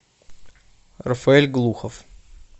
рафаэль глухов